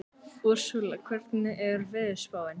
Úrsúla, hvernig er veðurspáin?